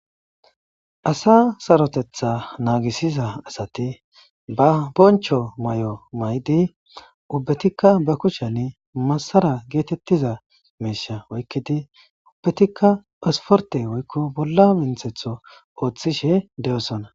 Asa saarottetta nagisiza ba bonchcho may'o mayidi ubbettika be kushshiyanni masara gettetiza miishsha oykkidi ubbettika esporte woyko bolla mintetho otishe dosonna.